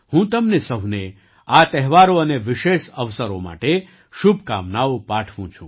હું તમને સહુને આ તહેવારો અને વિશેષ અવસરો માટે શુભકામનાઓ પાઠવુ છું